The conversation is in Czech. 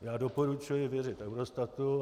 Já doporučuji věřit Eurostatu.